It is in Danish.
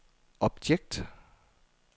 objekt